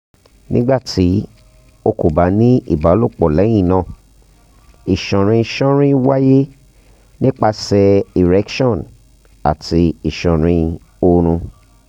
um nigbati o ko ba ni ibalopo lẹhinna iṣanrin ṣanrin waye nipasẹ erection orun ati iṣanrin oorun